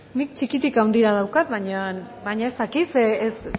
nik txikitik handira daukat baina ez dakit zer